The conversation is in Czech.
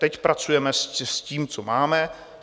Teď pracujeme s tím, co máme.